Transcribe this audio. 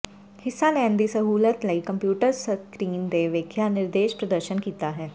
ਹਿੱਸਾ ਲੈਣ ਦੀ ਸਹੂਲਤ ਲਈ ਕੰਪਿਊਟਰ ਸਕਰੀਨ ਤੇ ਵੇਖਾਇਆ ਨਿਰਦੇਸ਼ ਪ੍ਰਦਰਸ਼ਨ ਕੀਤਾ ਹੈ